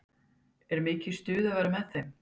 Og er mikið stuð að vera með þeim?